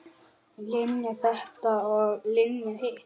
Linja þetta og Linja hitt.